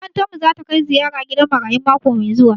Makarantar mu zata kai ziyara gidan marayu mako mai zuwa